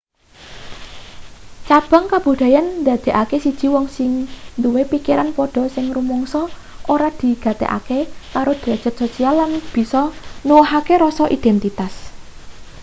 cabang kabudayan ndadekake siji wong sing duwe pikiran padha sing rumangsa ora digatekake karo drajat sosial lan bisa nuwuhake rasa identitas